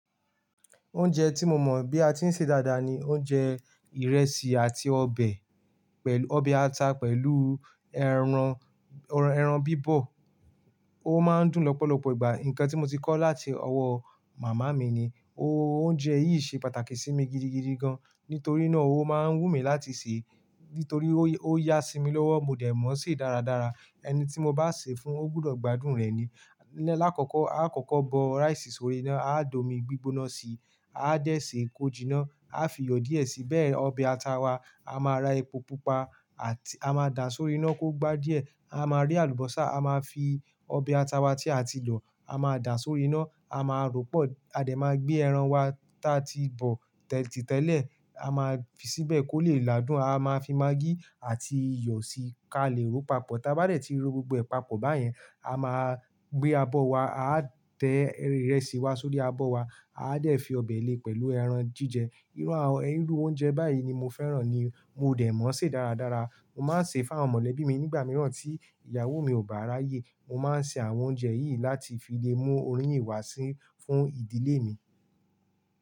Oúnjẹ tí mo mọ̀ bí a ti ń ṣe dáadáa ni oúnjẹ ìrẹsì àti ọbẹ̀, ọbẹ̀ ata pẹ̀lú ẹran, ẹran bíbọ̀. Ó máa ń dùn lọ́pọ̀lọpọ̀ ìgbà. Nǹkan tí mo ti kọ́ láti ọwọ́ màmá mi ni. Oúnjẹ yìí ṣe pàtàkì sí mi gidigidi gan-an, nítorí náà ó máa ń wù mí láti sè é. Nítorí ó yá sí mi lọ́wọ́, mo dẹ̀ mọ̀ ṣe dáradára. Ẹni tí mo bá sè é fún, ó gbúdọ̀ gbádùn rẹ̀ ni. Láàkọ́kọ́, a kọ́kọ́ bọ rice sórí iná, a dọ̀ omi gbígbóná síi, a dẹ̀ sè é kojìná, a fi iyọ̀ díẹ̀ síi, bẹ́ẹ̀ ọbẹ̀ ata wa, a máa ra epo pupa àti a máa dà án sórí iná kó gbá díẹ̀, a máa rí àlùbọ́sà, a máa fi ọbẹ̀ ata wa tí a ti lò, a máa dà án sórí iná, a máa rọ́pọ̀, a dẹ̀ ma gbé ẹran wa ta ti bọ̀ tìtẹ́lẹ̀, a máa fi síbẹ̀ kó lè làádùn, a máa fi magí àti iyọ̀ sí i ká lè ro papọ̀. Taa bá dẹ̀ ti ro gbogbo ee papọ̀ báyẹn, a máa gbé abọ́ wa, a tẹ ìrẹsì wa sórí abọ́ wa, a dẹ̀ fi ọbẹ̀ lé pẹ̀lú ẹran jíjẹ. Irú àwọn irú oúnjẹ báyìí ni mo fẹ́ràn ni mo dẹ̀ mọ̀ ṣe dáradára. Mo máa ń ṣe fún àwọn mọ̀lẹ́bí mi nígbà mìíràn tí ìyàwó mi ò bá ráyè. Mo máa ń ṣe àwọn oúnjẹ yìí láti fi lè mú oríyìn wá sí fún ìdílé mi.